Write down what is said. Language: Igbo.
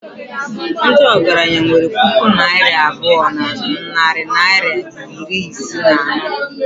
ndị ọgaranya nwere puku naira abụọ na narị naịra iri ise na anọ